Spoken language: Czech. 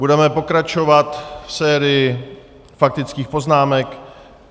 Budeme pokračovat v sérii faktických poznámek.